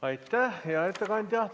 Aitäh, hea ettekandja!